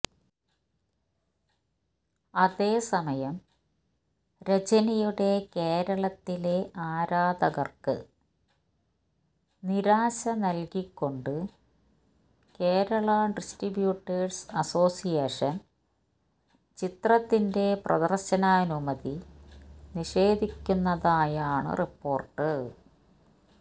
അതേസമയം രജനിയുടെ കേരളത്തിലെ ആരാധകർക്ക് നിരാശ നല്കികൊണ്ട് കേരളാ ഡിസ്ട്രിബ്യൂട്ടേഴ്സ് അസോസിയേഷൻ ചിത്രത്തിന്റെ പ്രദർശനാനുമതി നിഷേധിക്കുന്നതായാണ് റിപ്പോർട്ട്